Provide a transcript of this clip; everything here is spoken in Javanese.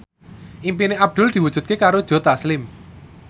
impine Abdul diwujudke karo Joe Taslim